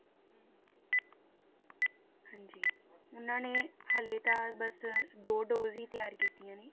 ਹਾਂਜੀ ਉਹਨਾਂ ਨੇ ਹਾਲੇ ਤਾਂ ਬਸ ਦੋ dose ਹੀ ਤਿਆਰ ਕੀਤੀਆਂ ਨੇ।